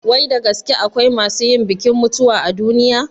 Wai da gaske akwai masu yin bikin mutuwa a duniya?